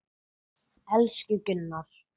Elsku Gunnar.